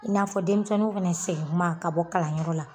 I n'a fɔ denmisɛnninw fɛnɛ segin tuma ka bɔ kalanyɔrɔ la